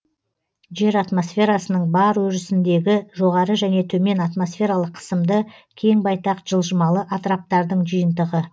жер атмосферасының бар өрісіндегі жоғары және төмен атмосфералық қысымды кең байтақ жылжымалы атыраптардың жиынтығы